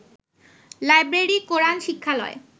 library, Quran শিক্ষালয়